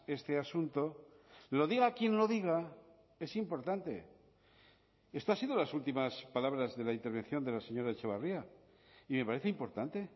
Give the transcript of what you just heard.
este asunto lo diga quien lo diga es importante esto ha sido las últimas palabras de la intervención de la señora etxebarria y me parece importante